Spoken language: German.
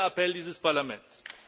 Das ist der Appell dieses Parlaments!